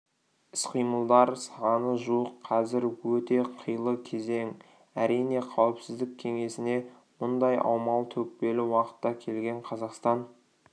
іс-қимылдар саны жуық қазір өте қилы кезең әрине қауіпсіздік кеңесіне мұндай аумалы-төкпелі уақытта келген қазақстан